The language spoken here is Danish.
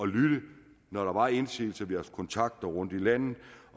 lytte når der var indsigelser vi har kontakter rundt i landet